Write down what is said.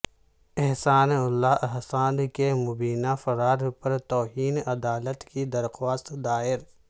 احسان اللہ احسان کے مبینہ فرار پر توہین عدالت کی درخواست دائر